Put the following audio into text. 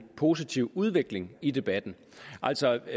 positiv udvikling i debatten altså